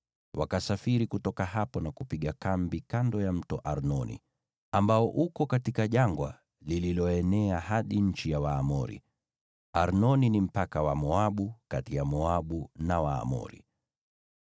Wakasafiri kutoka hapo na kupiga kambi kando ya Mto Arnoni, ambao uko katika jangwa lililoenea hadi nchi ya Waamori. Arnoni ni mpaka wa Moabu, kati ya Moabu na Waamori.